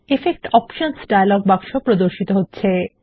effect options dialog বাক্স প্রদর্শিত হচ্ছে